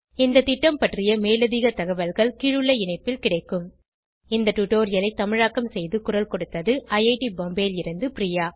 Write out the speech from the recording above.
இந்த திட்டம் பற்றி மேலதிக தகவல்கள் கீழுள்ள இணைப்பில் கிடைக்கும் இந்த டுடோரியலை தமிழாக்கம் செய்து குரல் கொடுத்தது ஐஐடி பாம்பேவில் இருந்து பிரியா